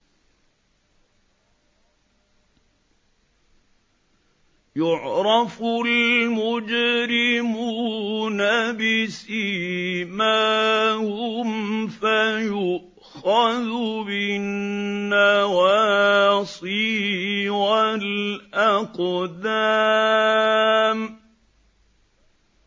يُعْرَفُ الْمُجْرِمُونَ بِسِيمَاهُمْ فَيُؤْخَذُ بِالنَّوَاصِي وَالْأَقْدَامِ